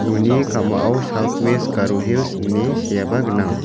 uni ka·mao saut wes garo hils ine seaba gnang.